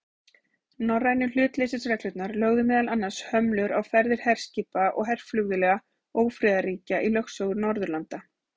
Norrænu hlutleysisreglurnar lögðu meðal annars hömlur á ferðir herskipa og herflugvéla ófriðarríkja í lögsögu Norðurlanda.